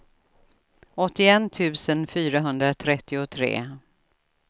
åttioett tusen fyrahundratrettiotre